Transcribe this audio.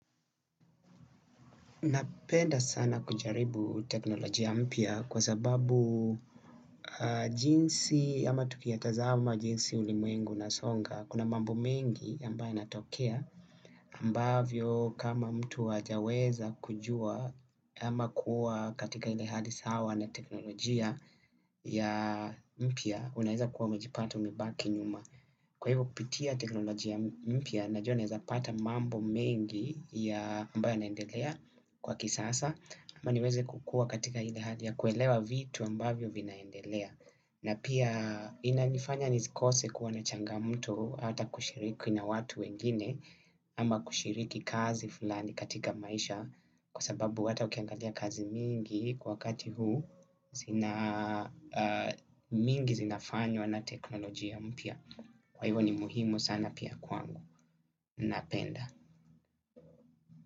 Napenda sana kujaribu teknolojia mpya kwa sababu jinsi ama tuki ya tazama jinsi ulimwengu una songa kuna mambo mengi ambayo ya natokea ambavyo kama mtu hajaweza kujua ama kuwa katika ile hali sawa na teknolojia ya mpya unaeza kuwa umejipata umebaki nyuma. Kwa hivyo kupitia teknolojia mpya najua naweza pata mambo mengi ya ambayo ya naendelea kwa kisasa. Ama niweze kukua katika ile hali ya kuelewa vitu ambayo vinaendelea na pia ina nifanya nisikose kuwa na changamoto ata kushiriki na watu wengine. Ama kushiriki kazi fulani katika maisha kwa sababu ata ukiangalia kazi mingi kwa kati huu zina mingi zinafanywa na teknolojia mpya. Kwa hivyo ni muhimu sana pia kwangu. Napenda.